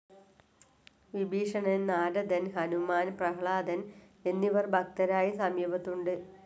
വിഭീഷണൻ, നാരദൻ, ഹനുമാൻ, പ്രഹ്ലാദൻ എന്നിവർ ഭക്തരായി സമീപത്തുണ്ട്.